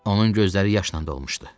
Onun gözləri yaşla dolmuşdu.